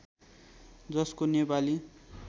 जसको नेपाली